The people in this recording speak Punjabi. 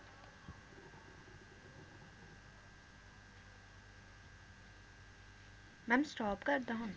Ma'am stop ਕਰਦਾਂ ਹੁਣ?